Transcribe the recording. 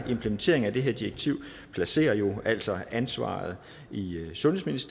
implementeringen af det her direktiv placerer jo altså ansvaret i sundheds